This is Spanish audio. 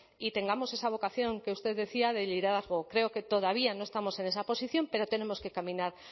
y tengamos esa vocación que usted decía de liderazgo creo que todavía no estamos en esa posición pero tenemos que caminar